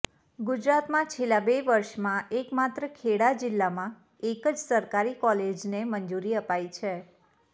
ગુજરાતમાં છેલ્લા બે વર્ષમાં એકમાત્ર ખેડા જિલ્લામાં એક જ સરકારી કોલેજને મંજૂરી અપાઈ છે